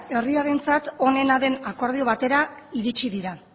herriarentzat onena den akordio batera iritsi dira